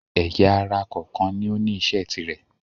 ẹ̀yà-ara kọ̀ọ̀kan ni ó ní isẹ́ tirẹ̀.